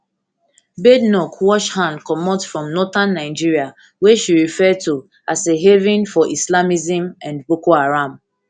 badenoch wash hand comot from northern nigeria wey she refer to as a haven for islamism and boko haram